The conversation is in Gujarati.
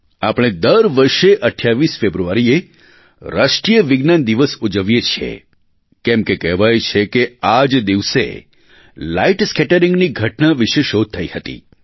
આપણે દર વર્ષે 28 ફેબ્રુઆરીએ રાષ્ટ્રીય વિજ્ઞાન દિવસ ઉજવીએ છીએ કેમકે કહેવાય છે કે આજ દિવસે લાઇટ સ્કેટરીંગની ઘટના વિશે શોધ થઇ હતી